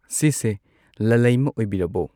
ꯁꯤꯁꯦ ꯂꯂꯩꯃꯥ ꯑꯣꯏꯕꯤꯔꯕꯣ